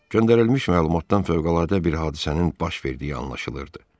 Göndərilmiş məlumatdan fövqəladə bir hadisənin baş verdiyi anlaşılırdı.